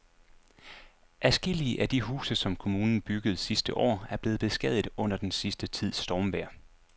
Adskillige af de huse, som kommunen byggede sidste år, er blevet beskadiget under den sidste tids stormvejr.